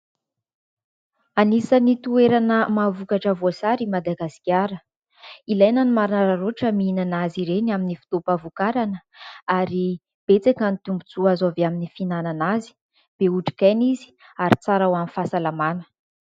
Anisan'ny toerana mahavokatra voasary i Madagasikara. Ilaina ny manararaotra mihinana azy ireny amin'ny fotoam-pahavokarana ; ary betsaka ny tombontsoa azo avy amin'ny fihinanana azy. Be otrik'aina izy ary tsara ho an'ny fahasalamana.